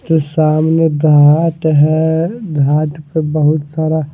जो सामने घाट है घाट पे बहुत सारा--